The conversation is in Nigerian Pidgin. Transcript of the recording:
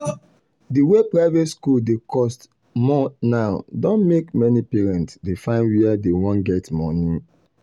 the way private school dey cost more now don make many parents dey find were dey wan get money